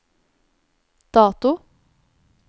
dato